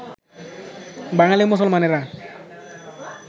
বাঙালী মুসলমানেরা